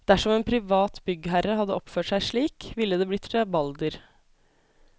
Dersom en privat byggherre hadde oppført seg slik, ville det blitt rabalder.